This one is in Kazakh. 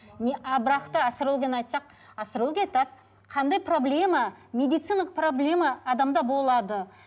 не а бірақ та астрологияны айтсақ астрология айтады қандай проблема медициналық проблема адамда болады